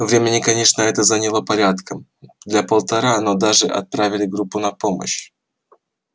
времени конечно это заняло порядком для полтора но всё же отправили группу на помощь